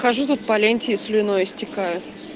хожу тут по ленте слюной истекаю